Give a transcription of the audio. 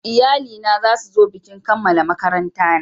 Iyali na za su zo bikin kammala makaranta na